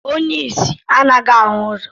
Onye isi anaghị ahụ ụzọ